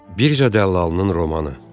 Birja dəllalının romanı.